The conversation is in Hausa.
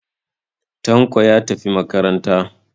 Tanko ya tafi makaranta.